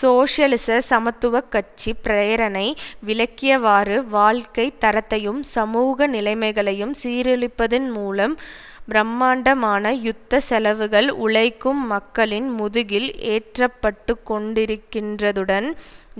சோசியலிச சமத்துவ கட்சி பிரேரணை விளக்கியவாறு வாழ்க்கை தரத்தையும் சமூக நிலைமைகளையும் சீரழிப்பதன் மூலம் பிரமாண்டமான யுத்த செலவுகள் உழைக்கும் மக்களின் முதுகில் ஏற்றப்பட்டுக்கொண்டிருக்கின்றதுடன்